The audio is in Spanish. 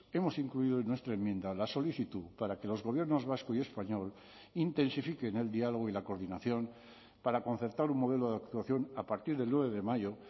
hemos incluido en nuestra enmienda la solicitud para que los gobiernos vasco y español intensifiquen el diálogo y la coordinación para concertar un modelo de actuación a partir del nueve de mayo